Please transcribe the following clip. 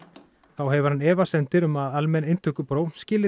þá hefur hann efasemdir um að almenn inntökupróf skili